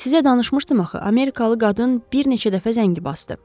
Sizə danışmışdım axı, amerikalı qadın bir neçə dəfə zəngi basdı.